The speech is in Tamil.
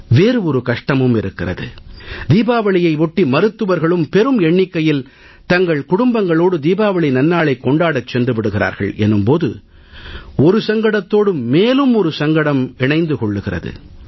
வேறு ஒரு கஷ்டமும் இருக்கிறது தீபாவளியை ஒட்டி மருத்துவர்களும் பெரும் எண்ணிக்கையில் தங்கள் குடும்பங்களோடு தீபாவளி நன்னாளைக் கொண்டாடச் சென்று விடுகிறார்கள் என்னும் போது ஒரு சங்கடத்தோடு மேலும் ஒரு சங்கடம் இணைந்து கொள்கிறது